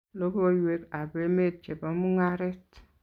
Logoiywek ab emet chebo mungaret